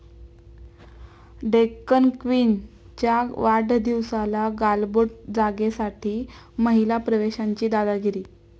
डेक्कन क्वीन'च्या वाढदिवसाला गालबोट, जागेसाठी महिला प्रवाशांची दादागिरी